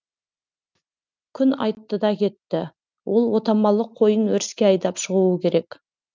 күн айтты да кетті ол отамалы қойын өріске айдап шығуы керек